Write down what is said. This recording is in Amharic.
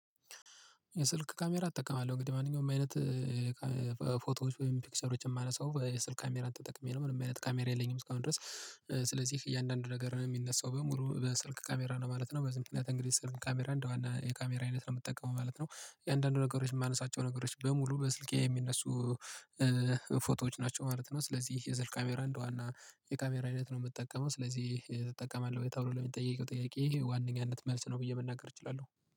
የስልክ ካሜራ እጠቀማለሁ እንግዲህ ማንኛውም አይነት ፎቶዎች ወይም ፒክሰሮችን የማነሳው የስልክ ካሜራን ተጠቅሜ ነው ምንም አይነት ካሜራ የለኝም እስካሁን ድረስ ስለዚህ እያንዳንዱ ነገር ነው የሚነሳው በሙሉ በስልክ ካሜራ ነው ማለት ነው። በዚህ ምክንያት እንግዲህ ስልክ ካሜራ እንደዋና የካሜራ አይነት ነው የምትጠቀመው ማለት ነው የአንዳንዱ ነገሮች የማነሳቸው ነገሮች በሙሉ በስልኬ የሚነሱ ፎቶዎች ናቸው ማለት ነው ስለዚህ የስልክ ካሜራ እንደዋና የካሜራ አይነት ነው የምጠቀመው። ስለዚህ ትጠቀማለህ ወይ ተብሎ ለሚጠይቀው ጥያቄ ዋናኛነት መልስ ነው ብዬ መናገር እችላለሁ